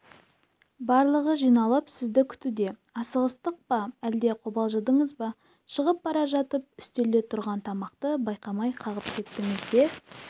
барлығы жиналып сізді күтуде асығыстық па әлде қобалжыдыңызба шығып бара жатып үстелде тұрған тамақты байқамай қағып кеттіңіз де